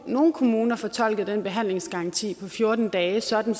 nogle kommuner fortolkede den behandlingsgaranti på fjorten dage sådan